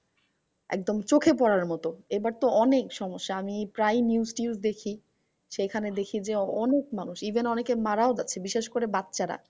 একদম চোখে পড়ার মতো এইবার তো অনেক সমস্যা। আমি প্রায় news টিউস দেখি। সেখানে দেখি যে, অনেক মানুষ even অনেকে মারাও যাচ্ছে বিশেষ করে বাচ্চারা।